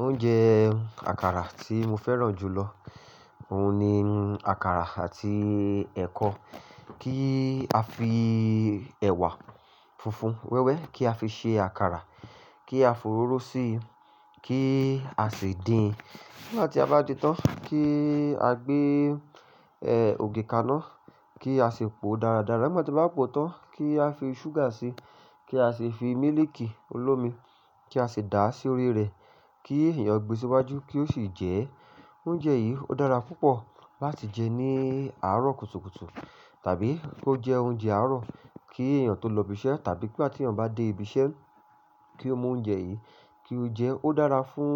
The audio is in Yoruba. Oúnjẹ àkàrà tí mo fẹ́ràn jù lọ, òun ni àkàrà àti ẹ̀kọ. Kí a fi ẹ̀wà funfun wẹ́wẹ́ kí a fi ṣe àkàrà, kí a fò ró ró sí i, kí a sì dín. Nígbà tí a bá di tán kí a gbé ẹ̀ ògì kaná, kí a sì pò dáradára. Nígbà tí a bá pò tán kí a fi ṣúgà sí i, kí a sì fi mílìkì olómi kí a sì dà á sí orí rẹ̀ kí èèyàn gbé síwájú kí ó sì jẹ ẹ́. Oúnjẹ yìí ó dára púpọ̀ láti jẹ ní àárọ̀ kùtùkùtù tàbí ó jẹ oúnjẹ àárọ̀ kí èèyàn tó lọ ibi iṣẹ́ tàbí nígbà tí èèyàn bá dé ibi iṣẹ́ kí ó mú oúnjẹ yìí kí ó jẹ ẹ́. Ó dára fún